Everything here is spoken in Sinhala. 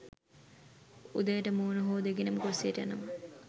උදේට මූණ හෝදගෙනම කුස්සියට යනවා